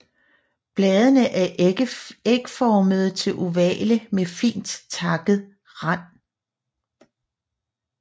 Bladene er ægformede til ovale med fint takket rand